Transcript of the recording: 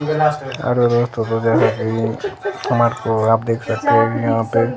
आप देख सकते हैं यहां पे--